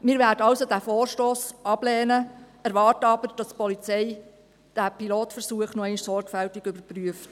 Wir werden also diesen Vorstoss ablehnen, erwarten aber, dass die Polizei diesen Pilotversuch noch einmal sorgfältig überprüft.